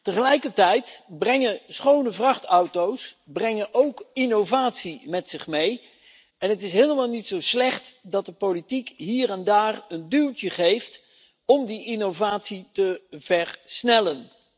Tegelijkertijd brengen schone vrachtauto's ook innovatie met zich mee. Het is helemaal niet zo slecht dat de politiek hier en daar een duwtje geeft om die innovatie te versnellen.